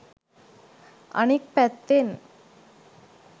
අනික් පැත්තෙන්